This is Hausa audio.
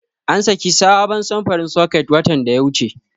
An saki sabon samfurin soket watan da ya wuce.